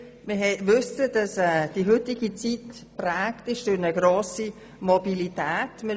Wir wissen, dass die heutige Zeit durch eine grosse Mobilität geprägt ist.